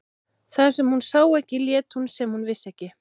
Það sem hún sá ekki lét hún sem hún vissi ekki.